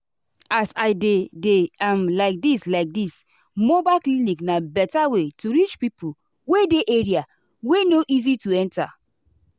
as i dey dey am like this like this mobile clinic na better way to reach pipo wey dey area wey no easy to enta.